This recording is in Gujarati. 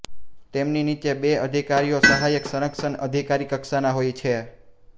તેમની નીચે બે અધિકારીઓ સહાયક સંરક્ષક અધિકારી કક્ષાના હોય છે